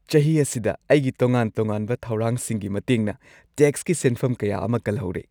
ꯆꯍꯤ ꯑꯁꯤꯗ ꯑꯩꯒꯤ ꯇꯣꯉꯥꯟ-ꯇꯣꯉꯥꯟꯕ ꯊꯧꯔꯥꯡꯁꯤꯡꯒꯤ ꯃꯇꯦꯡꯅ ꯇꯦꯛꯁꯀꯤ ꯁꯦꯟꯐꯝ ꯀꯌꯥ ꯑꯃ ꯀꯜꯍꯧꯔꯦ꯫